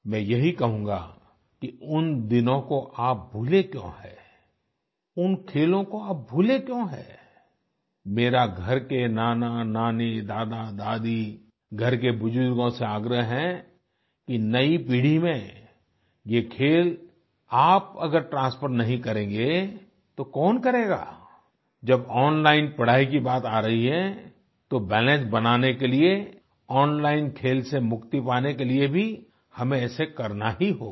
मैं यही कहूँगा कि उन दिनों को आप भूले क्यों हैं उन खेलों को आप भूले क्यों हैं मेरा घर के नानानानी दादादादी घर के बुजुर्गों से आग्रह है कि नयी पीढ़ी में ये खेल आप अगर ट्रांसफर नहीं करेंगे तो कौन करेगा जब ओनलाइन पढ़ाई की बात आ रही है तो बैलेंस बनाने के लिए ओनलाइन खेल से मुक्ति पाने के लिए भी हमें ऐसा करना ही होगा